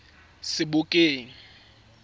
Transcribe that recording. sebokeng